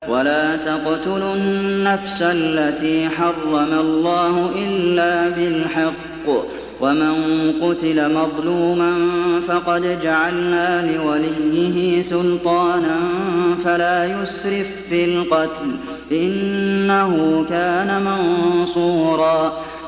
وَلَا تَقْتُلُوا النَّفْسَ الَّتِي حَرَّمَ اللَّهُ إِلَّا بِالْحَقِّ ۗ وَمَن قُتِلَ مَظْلُومًا فَقَدْ جَعَلْنَا لِوَلِيِّهِ سُلْطَانًا فَلَا يُسْرِف فِّي الْقَتْلِ ۖ إِنَّهُ كَانَ مَنصُورًا